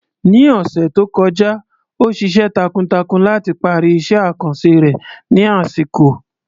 Ní ọ̀sẹ̀ tó kọjá, ó ṣiṣẹ́ takuntakun láti parí iṣẹ́ àkànṣe rẹ̀ ní àsìkò.